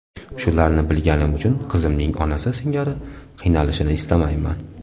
Shularni bilganim uchun qizimning onasi singari qiynalishini istamayman.